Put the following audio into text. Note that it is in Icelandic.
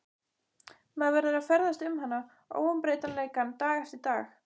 Maður verður að ferðast um hana, óumbreytanleikann, dag eftir dag.